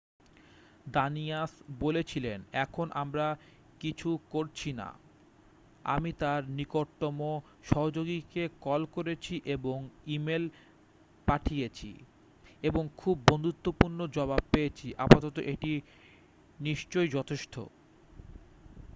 """Danius বলেছিলেন """এখন আমরা কিছু করছি না। আমি তার নিকটতম সহযোগীকে কল করেছি এবং ইমেল পাঠিয়েছি এবং খুব বন্ধুত্বপূর্ণ জবাব পেয়েছি। আপাতত এটি নিশ্চই যথেষ্ট।""" "